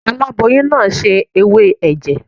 Aláboyún náà se ewé ẹ̀jẹ̀.